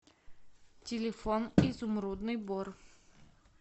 телефон изумрудный бор